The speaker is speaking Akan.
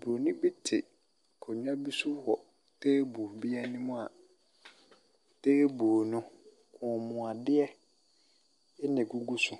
Boronin bi te akonnwa bi so wɔ table bi anim a table no, kɔnmuadeɛ na ɛgugu so.